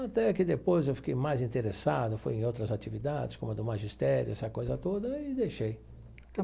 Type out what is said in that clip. Até que depois eu fiquei mais interessado, fui em outras atividades, como a do magistério, essa coisa toda, e deixei.